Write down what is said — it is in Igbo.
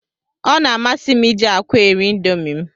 Ọ na-amasị m iji akwa eri indomi m.